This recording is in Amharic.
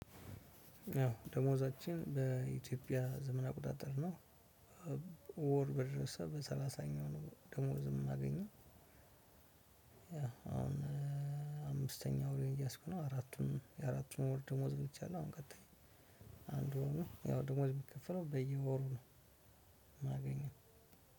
ደሞዛችን በኢትዮጲያ ዘመን አቆጣጠር ነው ወር በደረስ በሰላሳኛው ነው ደሞዝ የምናገኘው። አሁን አምስተኛው ወሬን እየያዝኩ ነው አራቱም የአራቱም ወር ደሞዝ በልቼአለሁ። አሁን ቀጣይ አንዱ ነው ደሞዝ የሚከፍለው በየወሩ ነው። የማገኘው